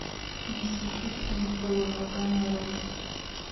мистер питкин в тылу врага нарой